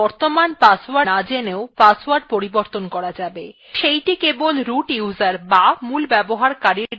then বর্তমান password না জেনেও password পরিবর্তন করা যাবে সেইটি কেবল মূল ব্যবহারকারীর দ্বারা করা যাবে